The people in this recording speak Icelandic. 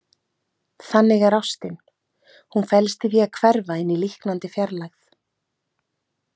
Þannig er ástin, hún felst í því að hverfa inn í líknandi fjarlægð.